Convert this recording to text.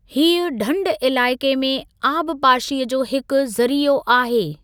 हीअ ढंढु इलाइक़े में आबपाशीअ जो हिकु ज़रीओ आहे|